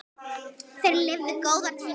Þeir lifðu góða tíma.